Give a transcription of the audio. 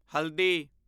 ਹਲਦੀ